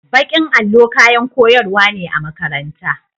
Bakin allo kayan koyarwa ne a makaranta.